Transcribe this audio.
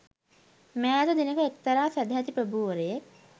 මෑත දිනක එක්තරා සැදැහැති ප්‍රභූවරයෙක්